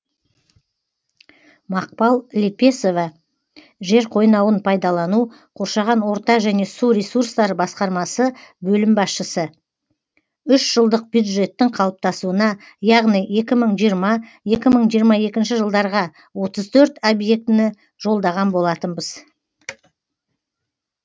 мақпал лепесова жер қойнауын пайдалану қоршаған орта және су ресурстары басқармасы бөлім басшысы үшжылдық бюджеттің қалыптасуына яғни екі мың жиырма екі мың жиырма екінші жылдарға отыз төрт объектіні жолдаған болатынбыз